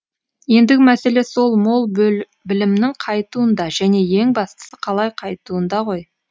ендігі мәселе сол мол білімнің қайтуында және ең бастысы қалай қайтуында ғой